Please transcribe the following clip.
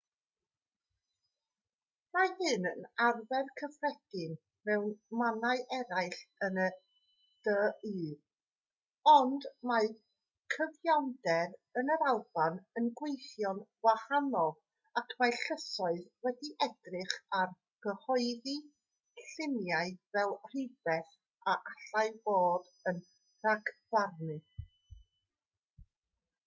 mae hyn yn arfer cyffredin mewn mannau eraill yn y du ond mae cyfiawnder yn yr alban yn gweithio'n wahanol ac mae llysoedd wedi edrych ar gyhoeddi lluniau fel rhywbeth a allai fod yn rhagfarnu